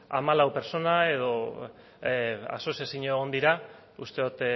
hamalau pertsona edo asoziazio egon dira uste dut